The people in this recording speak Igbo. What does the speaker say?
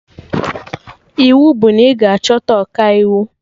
Iwu bụ na ị ga-achọta Ọkaiwu